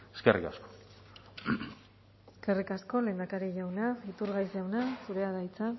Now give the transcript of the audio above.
eskerrik asko eskerrik asko lehendakari jauna iturgaiz jauna zurea da hitza